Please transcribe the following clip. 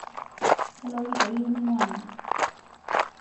kalo orika iyieu ninyangu